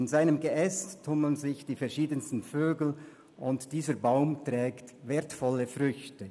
In seinem Geäst tummeln sich die verschiedensten Vögel, und dieser Baum trägt wertvolle Früchte.